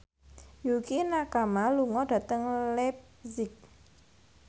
Yukie Nakama lunga dhateng leipzig